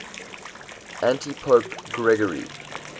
antipope gregory